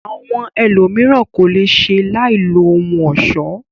Àwọn ẹlòmíràn ko le ṣe láì lo ohun ọ̀ṣọ.